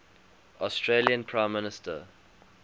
australian prime minister